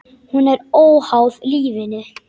Hún er óháð lífinu.